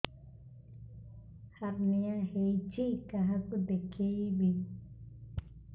hernia ହୋଇଛି କାହାକୁ ଦେଖେଇବି